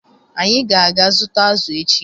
Anyị ga-aga zụta azụ echi